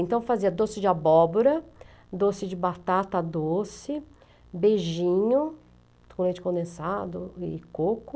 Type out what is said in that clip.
Então, eu fazia doce de abóbora, doce de batata doce, beijinho com leite condensado e coco.